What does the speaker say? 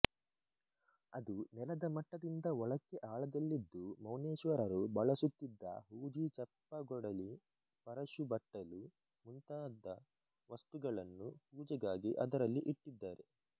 ಅದು ನೆಲದ ಮಟ್ಟದಿಂದ ಒಳಕ್ಕೆ ಆಳದಲ್ಲಿದ್ದು ಮೌನೇಶ್ವರರು ಬಳಸುತ್ತಿದ್ದ ಹೂಜಿ ಚಪ್ಪಗೊಡಲಿ ಪರಶುಬಟ್ಟಲು ಮುಂತಾದ ವಸ್ತುಗಳನ್ನು ಪೂಜೆಗಾಗಿ ಅದರಲ್ಲಿ ಇಟ್ಟಿದ್ದಾರೆ